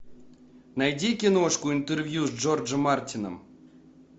найди киношку интервью с джорджем мартином